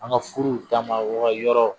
An ka furuw taamayɔrɔ